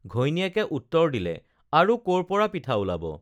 ঘৈণীয়েকে উত্তৰ দিলে আৰু কৰ পৰা পিঠা ওলাব